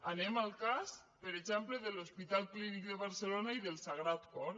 anem al cas per exemple de l’hospital clínic de barcelona i del sagrat cor